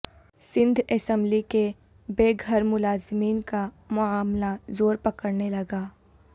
Sindh assembly کے بے گھر ملازمین کا معاملہ زور پکڑنے لگا